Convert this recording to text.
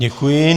Děkuji.